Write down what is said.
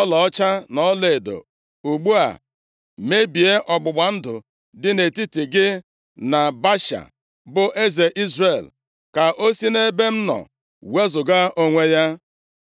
ọlaọcha na ọlaedo. Ugbu a, mebie ọgbụgba ndụ dị nʼetiti gị na Baasha, bụ eze Izrel, ka o si nʼebe m nọ wezuga onwe ya.”